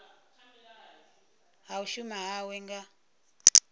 ha u shuma hawe nga